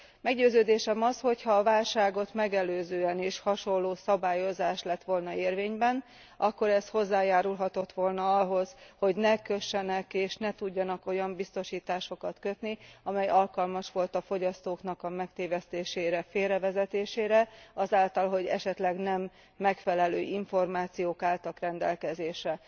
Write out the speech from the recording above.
Meggyőződésem az, hogyha a válságot megelőzően is hasonló szabályozás lett volna érvényben, akkor ez hozzájárulhatott volna ahhoz, hogy ne kössenek, és ne tudjanak olyan biztosításokat kötni, amely alkalmas volt a fogyasztóknak a megtévesztésére, félrevezetésére azáltal, hogy esetleg nem megfelelő információk álltak rendelkezésre.